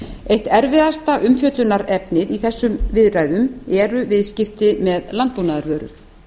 eitt erfiðasta umfjöllunarefnið í þessum viðræðum eru viðskipti með landbúnaðarvörur